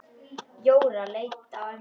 Jóra leit á ömmu.